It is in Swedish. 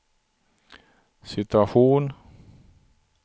situation